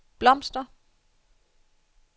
blomster